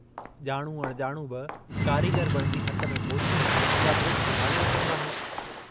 जाणू अणजाणू बि कारीगर बणिजी हथ में पोची या ब्रुश संभाले वठंदो आहे।